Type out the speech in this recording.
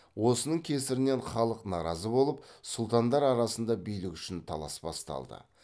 осының кесірінен халық наразы болып сұлтандар арасында билік үшін талас басталды